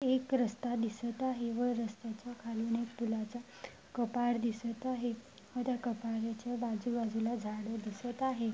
एक रस्ता दिसत आहे व रस्त्याच्या खालून एक फुलाचा कपार दिसत आहे व त्या कपराच्या आजूबाजूला झाड दिसत आहे.